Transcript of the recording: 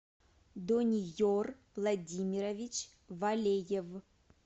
дониер владимирович валеев